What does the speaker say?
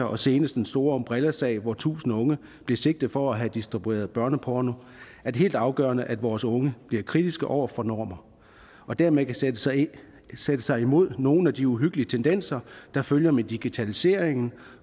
og seneste den store umbrella sag hvor tusind unge blev sigtet for at have distribueret børneporno er det helt afgørende at vores unge bliver kritiske over for normer og dermed kan sætte sig sætte sig imod nogle af de uhyggelige tendenser der følger med digitaliseringen